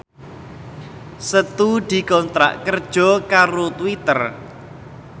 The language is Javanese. Setu dikontrak kerja karo Twitter